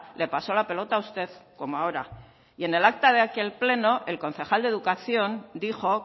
le pasó la pelota a usted como ahora y en el acta de aquel pleno el concejal de educación dijo